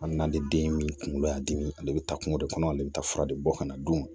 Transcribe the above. A nali den min kunkolo y'a dimi ale bɛ taa kungo de kɔnɔ ale bɛ taa fura de bɔ ka na don